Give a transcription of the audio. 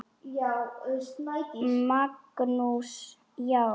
Magnús: Já.